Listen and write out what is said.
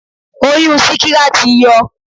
Oyún síkírá ti yọ.